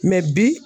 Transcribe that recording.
bi